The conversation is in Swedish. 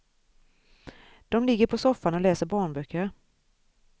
De ligger på soffan och läser barnböcker.